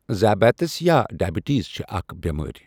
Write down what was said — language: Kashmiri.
ذیابیٖطٔس یا ڈے بِٹیٖز چھِ اَکھ بؠمٲرؠ۔